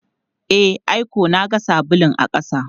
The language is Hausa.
E, ai ko na ga sabulun a ƙasa.